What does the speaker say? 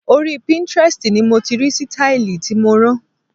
Orí Pinterest ni mo ti rí sítáílì tí mo rán.